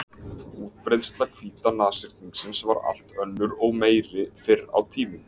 Útbreiðsla hvíta nashyrningsins var allt önnur og meiri fyrr á tímum.